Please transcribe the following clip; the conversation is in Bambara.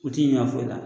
U ti ɲina foyi la